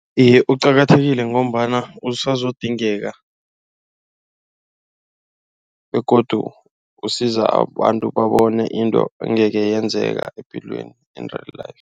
Iye uqakathekile ngombana usazodingeka kuzokudingeka begodu usiza abantu babone into angeke yenzeka epilweni into